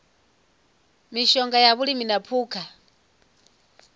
mishonga ya vhulimi na phukha